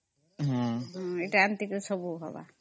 ଏଟା ଏମିତି କରି ସବୁ ହବ